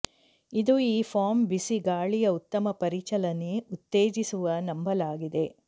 ಇದು ಈ ಫಾರ್ಮ್ ಬಿಸಿ ಗಾಳಿಯ ಉತ್ತಮ ಪರಿಚಲನೆ ಉತ್ತೇಜಿಸುವ ನಂಬಲಾಗಿದೆ